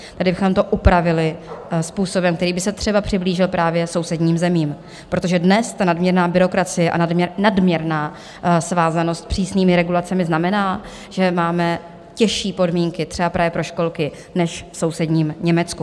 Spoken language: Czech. Tady bychom to upravili způsobem, který by se třeba přiblížil právě sousedním zemím, protože dnes ta nadměrná byrokracie a nadměrná svázanost přísnými regulacemi znamená, že máme těžší podmínky třeba právě pro školky než v sousedním Německu.